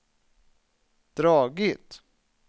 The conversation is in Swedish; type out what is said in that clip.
dragit